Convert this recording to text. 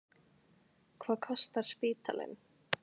Hvað kostar spítalinn?